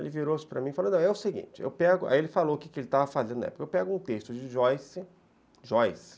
Ele virou-se para mim e falou, é o seguinte, aí ele falou o que ele estava fazendo na época, eu pego um texto de Joyce, Joyce,